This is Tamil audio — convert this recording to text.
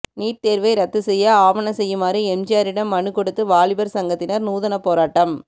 நீட் தேர்வை ரத்துசெய்ய ஆவன செய்யுமாறு எம்ஜிஆரிடம் மனுக்கொடுத்து வாலிபர் சங்கத்தினர் நூதனப் போராட்டம்